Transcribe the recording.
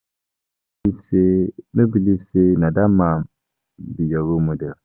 I no believe say no believe say na dat man be your role model